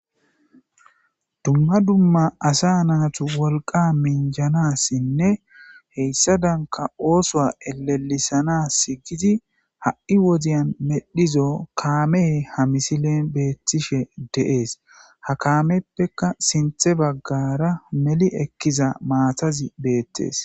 ''Duma duma asa natu wolqa minjjanaasinne hesadanka oothowa elelisanaasi giidi ha'ii woden medhizo kaamey ha misilen beetishe de'ees.ha kaamepeka sinthe bagaara meli ekiza maatazi beetes.''